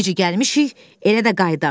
Necə gəlmişik, elə də qayıdaq.